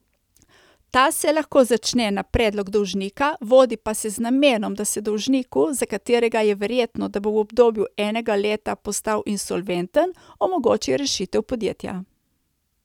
Ta se lahko začne na predlog dolžnika, vodi pa se z namenom, da se dolžniku, za katerega je verjetno, da bo v obdobju enega leta postal insolventen, omogoči rešitev podjetja.